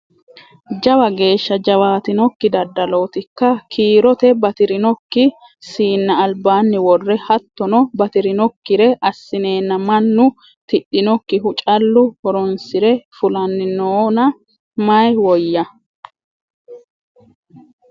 Jawa geeshsha jawaatinokki daddalotikka ? Kiirote batirinokki siina albaani worre hattono batirinokkire assinenna mannu tidhinokkihu callu horonsire fullanni noonna mayi woyyano ?